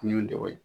N y'o de weele